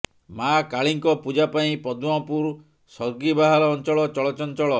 ମାଆ କାଳୀଙ୍କ ପୂଜା ପାଇଁ ପଦ୍ମପୁର ସର୍ଗିବାହାଲ ଅଞ୍ଚଳ ଚଳଚଞ୍ଚଳ